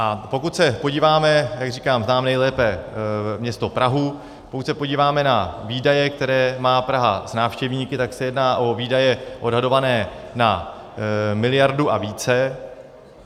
A pokud se podíváme - jak říkám, znám nejlépe město Prahu - pokud se podíváme na výdaje, které má Praha s návštěvníky, tak se jedná o výdaje odhadované na miliardu a více.